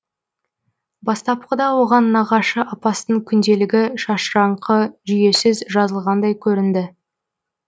бастапқыда оған нағашы апасының күнделігі шашыраңқы жүйесіз жазылғандай көрінді